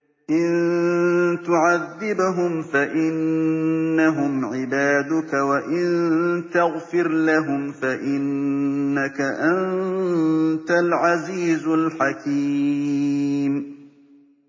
إِن تُعَذِّبْهُمْ فَإِنَّهُمْ عِبَادُكَ ۖ وَإِن تَغْفِرْ لَهُمْ فَإِنَّكَ أَنتَ الْعَزِيزُ الْحَكِيمُ